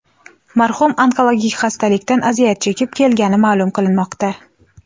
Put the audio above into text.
Marhum onkologik xastalikdan aziyat chekib kelgani ma’lum qilinmoqda.